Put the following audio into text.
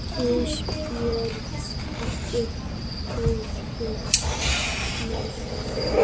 Ísbjört, ekki fórstu með þeim?